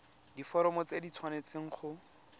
diforomo tse di tshwanesteng go